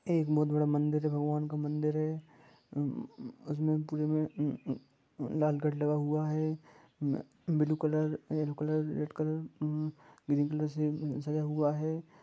ये बहुत बड़ा मंदिर है भगवान का मंदिर है मम लाल गेट लगा हुआ है blue colour red colour white colour नील कलर से सजा हुआ है।